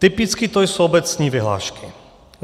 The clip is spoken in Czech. Typicky to jsou obecní vyhlášky.